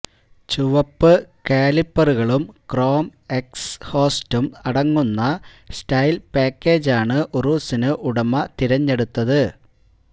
ചുവപ്പ് കാലിപ്പറുകളും ക്രോം എക്സ്ഹോസ്റ്റും അടങ്ങുന്ന സ്റ്റൈല് പാക്കേജാണ് ഉറൂസിന് ഉടമ തെരഞ്ഞെടുത്തത്